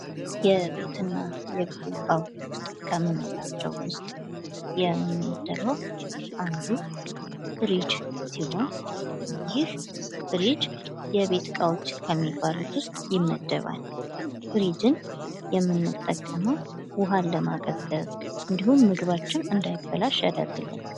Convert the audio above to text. የቤት እና የቢሮ እቃዎች ከምንላቸው ዉስጥ የሚመደበው አንዱ ፍሪጅ ሲሆን ይህ ፍሪጅ የቤት እቃዎች ከሚባሉት ዉስጥ ይመደባል። ፍሪጅን የምንጠቀመው ዉሃን ለማቀዝቀዝ እንዱሁም ምግባችን እንዳይበላሽ ያደርግልናል።